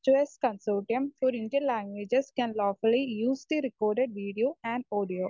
speaker 1 to S consortium for Indian languages can lawfully use the recorded video and audio